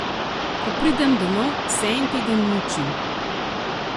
Ko pridem domov, se en teden mučim.